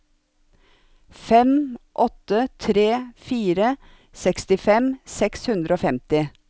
fem åtte tre fire sekstifem seks hundre og femti